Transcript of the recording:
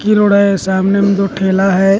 पक्की रोड है सामने में दो ठेला है।